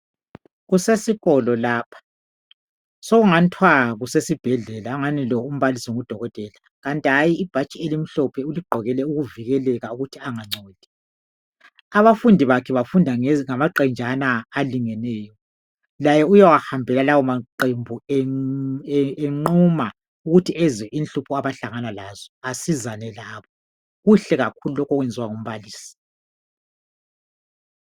Kusesikolo lapho sokungani kuthiwa kusesibhedlela, sokungani umbalisi lo ngudokotela kanti hatshi ibhatshi elimhlophe uligqokele ukuvikeleka ukuthi angangcoli. Abafundi bakhe bafunda ngokungamaqenjana okulingeneyo laye uyawahambela lawo maqembu enquma ukuthi ezwe inhlupho abahlangana lazo besizakale, kuhle kakhulu lokhu okwenziwa ngumbalisi.